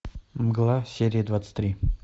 мгла серия двадцать три